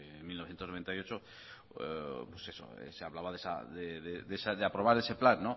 en mil novecientos noventa y ocho se hablaba de aprobar ese plan